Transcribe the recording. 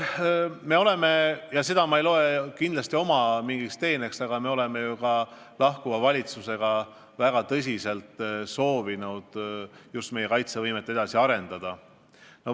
Ma ei pea seda kindlasti oma teeneks, aga me oleme ju ka lahkuva valitsusega väga tõsiselt soovinud meie kaitsevõimet edasi arendada.